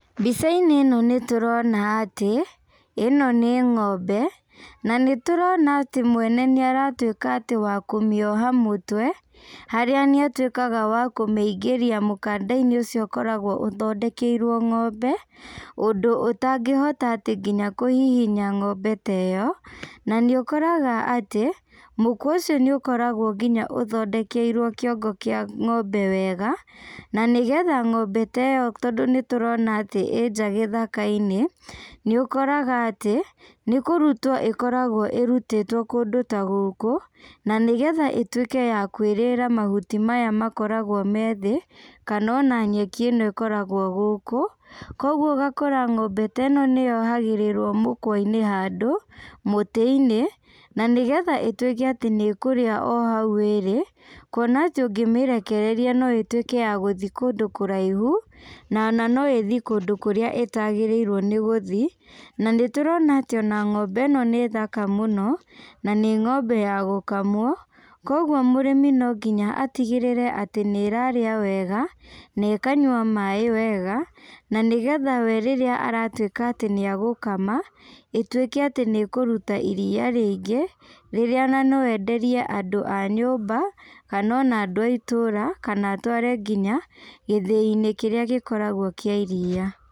Mbicainĩ ĩno nĩtũrona atĩ, ĩno nĩ ng'ombe, na nĩtũrona atĩ mwene nĩaratuĩka atĩ wa kũmĩoha mũtwe, harĩa nĩatuĩkaga wa kũmĩingĩria mũkandainĩ ũcio ũkoragwo ũthendekeirwo ng'ombe, ũndũ ũtangĩhota atĩ nginya kũhihinya ng'ombe ta ĩyo, na nĩũkoraga atĩ, mũkwa ũcio nĩũkoragwo nginya ũthondekeirwo kĩongo kĩa ng'ombe wega, na nĩgetha ng'ombe ta ĩyo tondũ nĩtũrona atĩ ĩ nja gĩthakainĩ, nĩũkoraga atĩ, nĩkũrutwo ĩkoragwo ĩrutĩtwo kũndũ ta gũkũ, na nĩgetha ĩtuĩke ya kwĩrĩra mahuti maya makoragwo me thĩ, kana ona nyeki ĩno ĩkoragwo gũkũ, koguo ũgakora ng'ombe ta ĩno nĩyohagĩrĩrwo mũkwainĩ handũ, mũtĩinĩ, na nĩgetha ĩtuĩke atĩ nĩkũrĩa o hau ĩrĩ, kuona atĩ ũngĩmĩrekereria no ĩtuĩke ya gũthi kũndũ kũraihu, na ona no ĩthi kũndũ kũrĩa ĩtagĩrĩirwo nĩ gũthi, na nĩtũrona atĩ ona ng'ombe ĩno nĩ thaka mũno, na nĩ ng'ombe ya gũkamwo, koguo mũrĩmi no nginya atigĩrĩre atĩ nĩrarĩa wega, na ĩkanyua maĩ wega, na nĩgetha we rĩrĩa aratuĩka atĩ nĩagũkama, ĩtuĩke atĩ nĩ ĩkũruta iria rĩingĩ, rĩrĩa ona no enderie andũ a nyũmba, kana ona andũ a itũra, kana atware nginya, gĩthĩinĩ kĩrĩa gĩkoragwo kĩa iria.